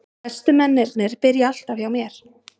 Bestu mennirnir byrja alltaf hjá mér.